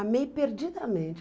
Amei perdidamente.